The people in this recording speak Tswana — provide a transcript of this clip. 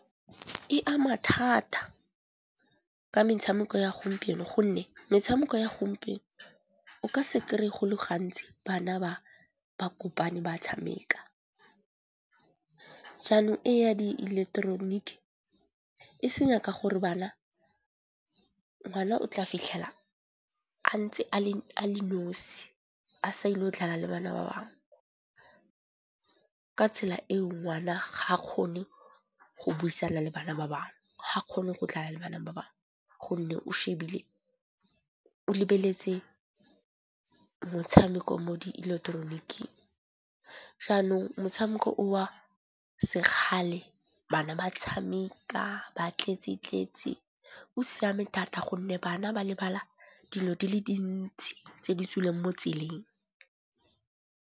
E ama thata ka metshameko ya gompieno gonne metshameko ya gompieno o ka se kry-e go le gantsi bana ba kopane ba tshameka. Jaanong e ya di eleketoroniki e senya ka gore ngwana o tla fitlhela a ntse a le nosi a sa ile go dlala le bana ba bangwe. Ka tsela eo ngwana ha kgone go buisana le bana ba bangwe ga kgone go dlala le bana ba bangwe. Gonne o lebeletse motshameko mo di ileketeroniking. Jaanong motshameko o wa sekgale, bana ba tshameka, ba tletse-tletse o siame thata gonne bana ba lebala dilo di le dintsi tse di tswileng mo tseleng.